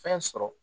Fɛn sɔrɔ